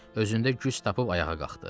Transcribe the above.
Özündə güc tapıb ayağa qalxdı.